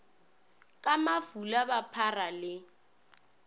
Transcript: ka mafula ba phara le